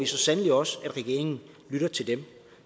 så sandelig også at regeringen lytter til dem